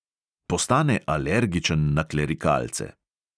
Postane alergičen na klerikalce.